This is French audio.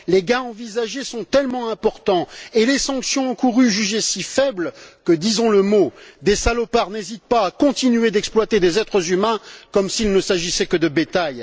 Les gains envisagés sont tellement importants et les sanctions encourues jugées si faibles que, disons le mot, des salopards n'hésitent pas à continuer d'exploiter des êtres humains comme s'il ne s'agissait que de bétail.